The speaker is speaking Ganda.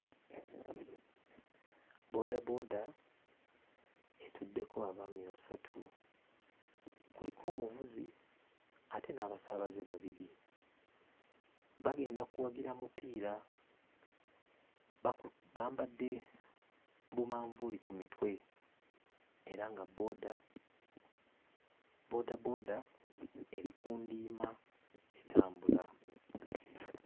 Bboodabooda etuddeko abaami basatu: kuliko omuvuzi ate n'abasaabaze babiri. Bagenda kuwagira mupiira, baku... bambadde bumanvuuli ku mitwe era nga bbooda bboodabooda eri ku ndiima etambula.